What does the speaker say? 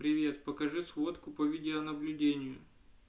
привет покажи фотку по видеонаблюдению